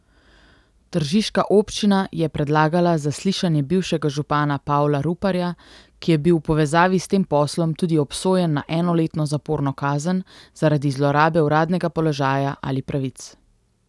Tržiška občina je predlagala zaslišanje bivšega župana Pavla Ruparja, ki je bil v povezavi s tem poslom tudi obsojen na enoletno zaporno kazen zaradi zlorabe uradnega položaja ali pravic.